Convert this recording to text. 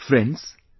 Friends,